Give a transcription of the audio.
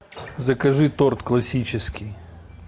закажи торт классический